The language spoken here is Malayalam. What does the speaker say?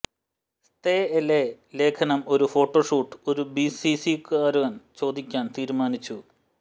സ്തെഎലെ ലേഖനം ഒരു ഫോട്ടോ ഷൂട്ട് ഒരു ബിസിനസുകാരൻ ചോദിക്കാൻ തീരുമാനിച്ചു